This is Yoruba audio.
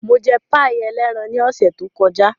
Mo jẹ páì ẹlẹ́ran ní ọ̀sẹ̀ tó kọjá.